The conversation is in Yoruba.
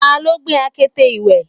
taló gbé akete ìwẹ̀?